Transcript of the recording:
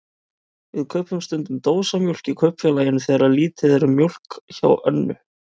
Við kaupum stundum dósamjólk í Kaupfélaginu þegar lítið er um mjólk hjá Önnu.